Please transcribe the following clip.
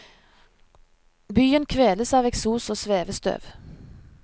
Byen kveles av eksos og svevestøv.